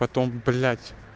потом блять